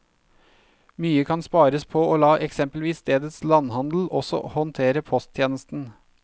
Mye kan spares på å la eksempelvis stedets landhandel også håndtere posttjenesten.